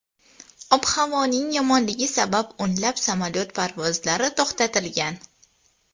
Ob-havoning yomonligi sabab o‘nlab samolyot parvozlari to‘xtatilgan.